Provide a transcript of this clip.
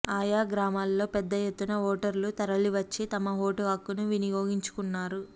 ఆయా గ్రామాల్లో పెద్దఎత్తున ఓటర్లు తరలివచ్చి తమ ఓటు హక్కును విని యోగించుకున్నారు